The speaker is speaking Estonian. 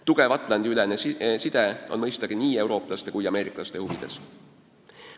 Tugev Atlandi-ülene side on nii eurooplaste kui ka ameeriklaste huvides.